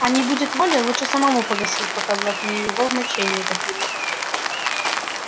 а не будет воли лучше самому погасить пока блатные его в моче не утопили